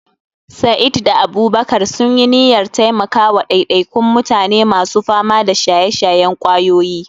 Sa'id da Abubakar sun yi niyyar taimaka wa ɗaiɗaikun mutane masu fama da shaye-shayen ƙwayoyi.